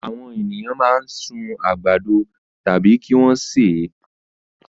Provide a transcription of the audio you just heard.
Àwọn ènìyàn máa ń sun àgbàdo tàbí kí wọ́n sè é.